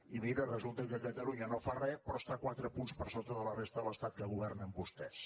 i mira resulta que catalunya no fa re però està quatre punts per sota de la resta de l’estat que governen vostès